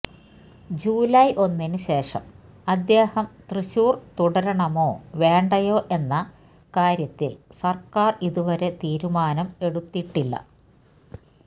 July ഒന്നിന് ശേഷം അദ്ദേഹം തൃശൂര് തുടരണമോ വേണ്ടയോ എന്ന കാര്യത്തില് സര്ക്കാര് ഇതുവരെ തീരുമാനം എടുത്തിട്ടില്ല